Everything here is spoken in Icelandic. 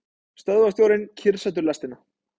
Stöðvarstjórinn kyrrsetur lestina.